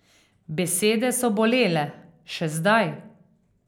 Besede so bolele, še zdaj.